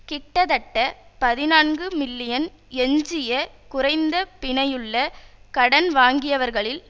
கிட்டத்தட்ட பதினான்கு மில்லியன் எஞ்சிய குறைந்த பிணையுள்ள கடன் வாங்கியவர்களில்